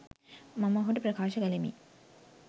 මම ඔහුට ප්‍රකාශ කළෙමි.